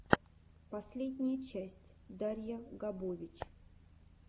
последняя часть дарья габович